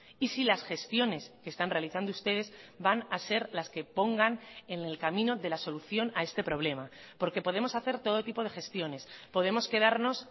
y si las gestiones que están realizando ustedes van a ser las que pongan en el camino de la solución a este problema porque podemos hacer todo tipo de gestiones podemos quedarnos